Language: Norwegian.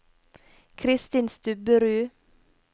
Christin Stubberud